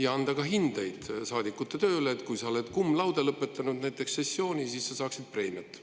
Ja anda ka hindeid saadikute tööle, et kui sa näiteks oled cum laude lõpetanud sessiooni, siis sa saaksid preemiat.